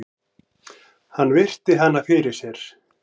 Hann virti hana fyrir sér.